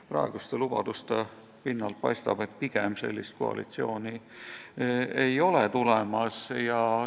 Praeguste lubaduste pinnalt paistab, et sellist koalitsiooni ei ole tulemas.